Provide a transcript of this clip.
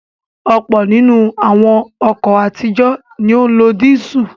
Ọ̀pọ̀ nínú àwọn ọkọ̀ àtijọ́ ni ó ń lo dísù.